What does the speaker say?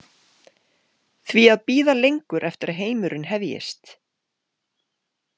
Því að bíða lengur eftir að heimurinn hefjist?